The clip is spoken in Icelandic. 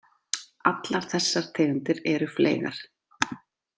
Allar þessar tegundir eru fleygar.